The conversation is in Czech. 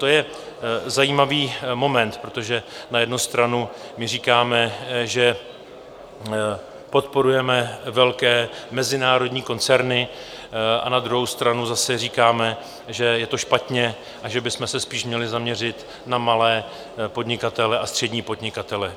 To je zajímavý moment, protože na jednu stranu my říkáme, že podporujeme velké mezinárodní koncerny, a na druhou stranu zase říkáme, že je to špatně a že bychom se spíš měli zaměřit na malé podnikatele a střední podnikatele.